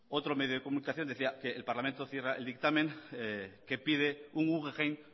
otro medio de comunicación decía que el parlamento vasco cierra el dictamen que pide un guggenheim